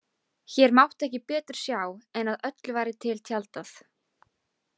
Hér mátti ekki betur sjá en að öllu væri til tjaldað.